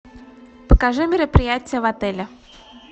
покажи мероприятия в отеле